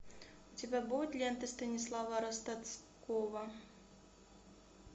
у тебя будет лента станислава ростоцкого